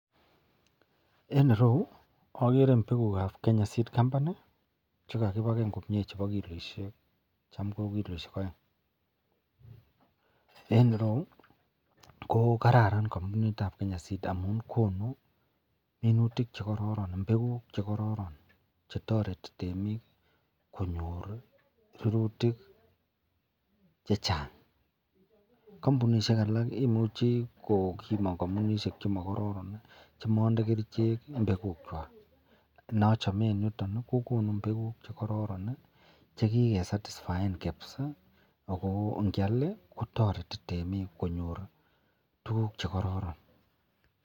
En ireyu okere mbekukab Kenya seed company chekakipaken komie chebo kiloishek cham ko kiloishek oeng, en ireyu ko kararan kambunitab Kenya seed amun konu minutik chekororon, mbekuk chekororon chetoreti temik konyor rurutik chechang, kombunishek alak imuche komii kombunishek chemokoron chemonde kerichek mbekukwak, nochomen yuton kokonu mbekuk chekororon chekike sastisfaen kabisaa ak ko ngial kotoreti temiik konyor tukuk chekororon.